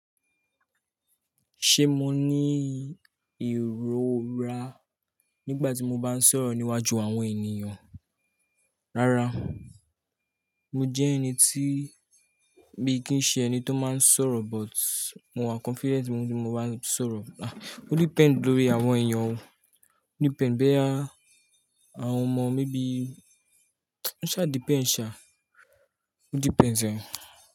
Ṣé mo ní ìrora nígbà tí mo bá ń sọ̀rọ̀ níwájú àwọn ènìyàn? Rárá, mo jẹ́ ẹni tí, mi kì n ṣe ẹni tó máa ń sọ̀rọ̀ but mo wà confident wípé mo máa le sọ̀rọ̀. Ah, o depend lórí àwọn ènìyàn o. O depend boya àwọn ọmọ, maybe o ṣá depend ṣa, o depends ẹ.